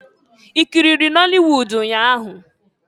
I kiriri nọli wud nnya ahụ?